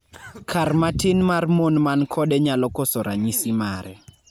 kan matin mar mon man kode nyalo koso ranyisi mare